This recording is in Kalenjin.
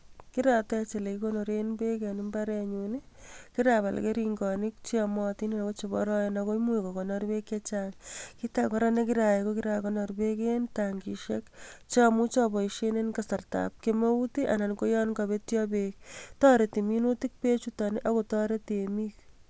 Kiratech elekikonoren beek en imbarenyun, kirabal kering'onik cheyomotin ak ko cheboroen ak ko imuch kokonor beek chechang, kiit akee kora nekirayai ko kirakonor beek en tankishek chomuche aboishen en kasartab kemeut anan ko yon kobetyo beek, toreti minutik chuton ak kotoret temik.